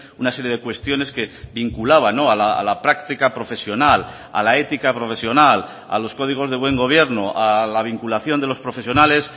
una serie de cuestiones que vinculaba a la práctica profesional a la ética profesional a los códigos de buen gobierno a la vinculación de los profesionales